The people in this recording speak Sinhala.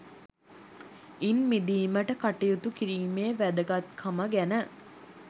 ඉන් මිදීමට කටයුතු කිරීමේ වැදගත්කම ගැන